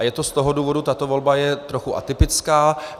A je to z toho důvodu, tato volba je trochu atypická.